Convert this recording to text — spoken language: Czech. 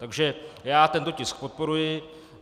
Takže já tento tisk podporuji.